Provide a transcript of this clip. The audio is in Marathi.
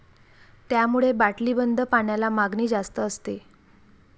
त्यामुळे बाटलीबंद पाण्याला मागणी जास्त असते.